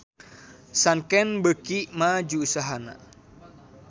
Sanken beuki maju usahana